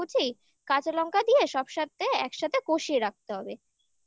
কুচি কাঁচা লঙ্কা দিয়ে সব সাথে একসাথে কষিয়ে রাখতে হবে। তারপর ওর ভেতর